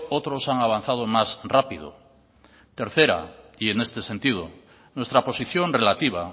otros han avanzado más rápido tercera y en este sentido nuestra posición relativa